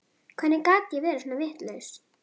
Hvernig gat ég verið svona vitlaus?